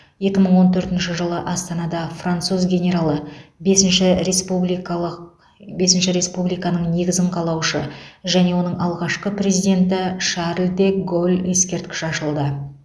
екі мың он төртінші жылы астанада француз генералы бесінші республикалық бесінші республиканың негізін қалаушы және оның алғашқы президенті шарль де голль ескерткіші ашылды